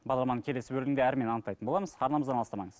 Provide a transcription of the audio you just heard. бағдарламаның келесі бөлімінде анықтайтын боламыз арнамыздан алыстамаңыз